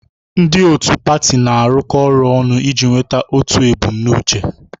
Ndị otu pati na-arụkọ ọrụ ọnụ iji nweta otu ebumnuche.